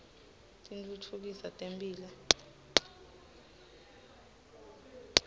titfutfukisa temphilo